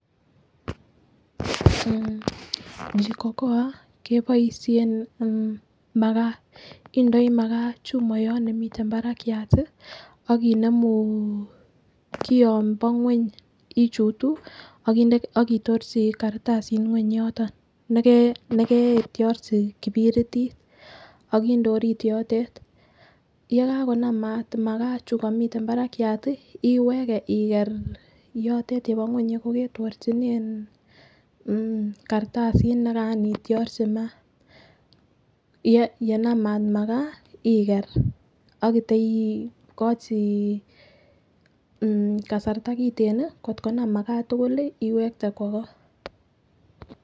Jikokoa keboishen makaa indoi makaa chumoyot nemiten barakiat tii akinemuu kion bo ngweny ichutuu akitorchi kartasit ngweny yoto nekee neketrochi kipiritit akinde orit yotet yekakonam mat makaa chuu komiten barakyat tii iweke iker yotet yebo ngweny yekoketorchine mmh kartasit nekaran itiorchi mat. Yenam mat makaa iker ak iteikochi kasarta kiten nii kotkonam makaa tukuli iwekte kwo koo.